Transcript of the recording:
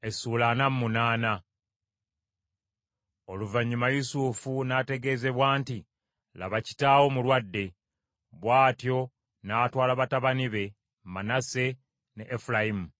Oluvannyuma Yusufu n’ategeezebwa nti, “Laba, kitaawo mulwadde.” Bw’atyo n’atwala batabani be Manase ne Efulayimu;